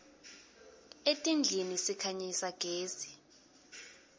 etindlini sikhanyisa gezi